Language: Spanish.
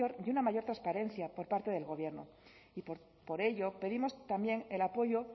y una mayor transparencia por parte del gobierno y por ello pedimos también el apoyo